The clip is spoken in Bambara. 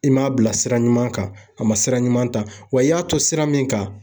I m'a bila sira ɲuman kan, a ma sira ɲuman ta, wa i y'a to sira min kan